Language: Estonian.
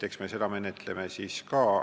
Eks me seda menetleme ka.